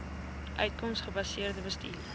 uitkoms gebaseerde bestuur